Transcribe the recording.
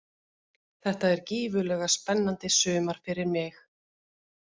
Þetta er gífurlega spennandi sumar fyrir mig.